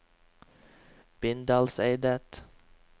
Bindalseidet